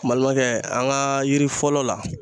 Balimakɛ an ka yiri fɔlɔ la.